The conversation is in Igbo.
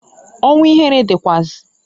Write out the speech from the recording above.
Ọnwu ihere dịkwaazi.